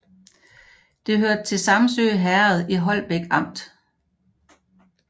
Det hørte til Samsø Herred i Holbæk Amt